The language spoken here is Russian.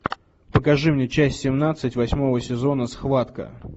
покажи мне часть семнадцать восьмого сезона схватка